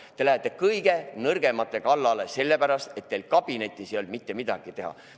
Te lähete kõige nõrgemate kallale, sellepärast et teil kabinetis ei olnud mitte midagi teha.